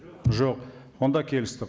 жоқ онда келістік